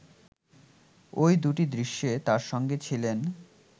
ওই দুটি দৃশ্যে তার সঙ্গে ছিলেন